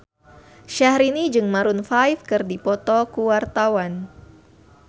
Syahrini jeung Maroon 5 keur dipoto ku wartawan